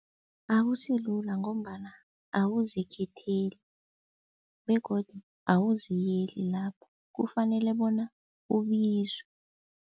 Akusilula ngombana awuzikhetheli begodu awuziyeli lapho kufanele bona ubizwe.